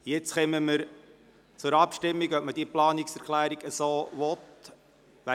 Wir kommen nun zur Abstimmung darüber, ob wir diese Planungserklärung überweisen wollen.